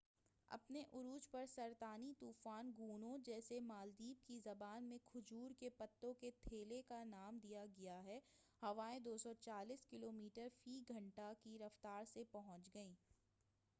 اپنے عروج پر، سرطانی طوفان گونو، جسے مالدیپ کی زبان میں کھجور کے پتوں کے تھیلے کا نام دیا گیا ہے، ہوائیں 240 کلومیٹر فی گھنٹہ 149 میل فی گھنٹہ کی رفتار سے پہنچ گئیں۔